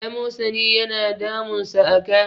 amosani yana damunsa a ka